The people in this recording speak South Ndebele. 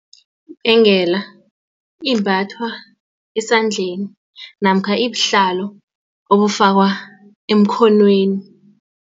Ibhengela imbathwa esandleni namkha ibuhlalo obufakwa emkhonweni.